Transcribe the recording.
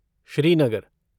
Srinagar